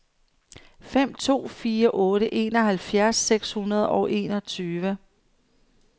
fem to fire otte enoghalvfjerds seks hundrede og enogtyve